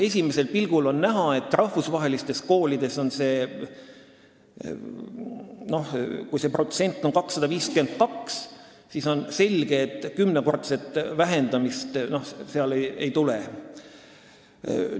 Esimesel pilgul on näha, et kui rahvusvahelises koolis on see protsent 252, siis on selge, et kümnekordset vähendamist seal ei tule.